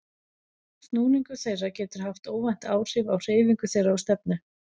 Snúningur þeirra getur haft óvænt áhrif á hreyfingu þeirra og stefnu.